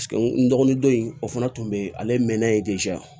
N dɔgɔnin don in o fana tun bɛ ale mɛnna ye